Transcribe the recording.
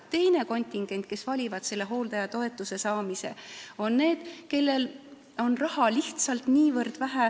Teine kontingent, kes valib hooldajatoetuse, on need, kellel on raha lihtsalt niivõrd vähe.